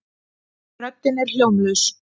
Röddin er hljómlaus.